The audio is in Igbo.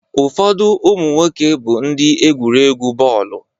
Ụfọdụ ụmụ nwoke bụ ndị egwurị egwu bọọlụ.